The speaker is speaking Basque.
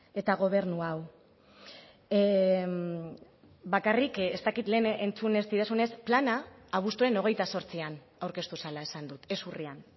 eta gobernu hau bakarrik ez dakit lehen entzun ez didazunez plana abuztuaren hogeita zortzian aurkeztu zela esan dut ez urrian